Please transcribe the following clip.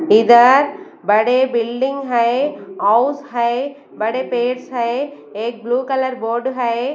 इधर बड़े बिल्डिंग है हाउस है बड़े पेड़स है एक ब्लू कलर बोर्ड है।।